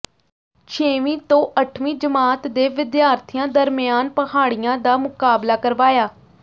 ਛੇਵੀਂ ਤੋਂ ਅੱਠਵੀਂ ਜਮਾਤ ਦੇ ਵਿਦਿਆਰਥੀਆਂ ਦਰਮਿਆਨ ਪਹਾੜਿਆਂ ਦਾ ਮੁਕਾਬਲਾ ਕਰਵਾਇਆ